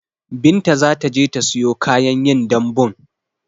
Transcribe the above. Binta zataje ta siyo kayan yin dambun